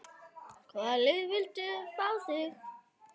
Hvaða lið vildu fá þig?